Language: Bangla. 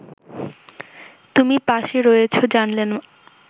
তুমি পাশে রয়েছো জানলে না